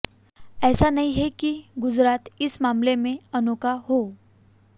ऐसा नहीं है कि गुजरात इस मामले में अनोखा हो